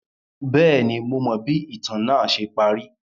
Bẹẹni, Mo mọ bi itan naa ṣe pari